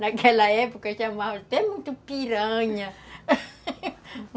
Naquela época chamavam até muito piranha...